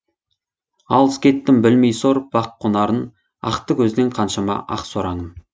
алыс кеттім білмей сор бақ қонарын ақты көзден қаншама ақ сораңым